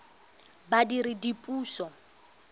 badiredipuso